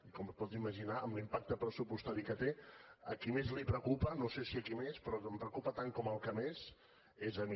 i com es pot imaginar amb l’impacte pressupostari que té a qui més li preocupa no sé si a qui més però que em preocupa tant com al que més és a mi